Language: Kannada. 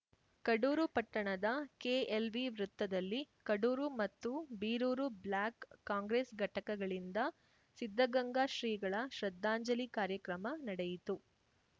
ಕಡೂರು ಪಟ್ಟಣದ ಕೆಎಲ್‌ವಿ ವೃತ್ತದಲ್ಲಿ ಕಡೂರು ಮತ್ತು ಬೀರೂರು ಬ್ಲಾಕ್‌ ಕಾಂಗ್ರೆಸ್‌ ಘಟಕಗಳಿಂದ ಸಿದ್ಧಗಂಗಾ ಶ್ರೀಗಳ ಶ್ರದ್ಧಾಂಜಲಿ ಕಾರ್ಯಕ್ರಮ ನಡೆಯಿತು